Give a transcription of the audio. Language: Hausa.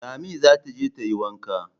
Lami za ta je tayi Wanka